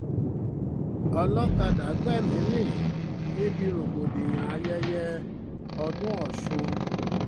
olọ́kadà gbẹ̀mí-ín mi níbi rògbòdìyàn ayẹyẹ ọdún ọ̀sùn